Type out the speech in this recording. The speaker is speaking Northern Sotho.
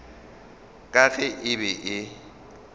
ka ge e be e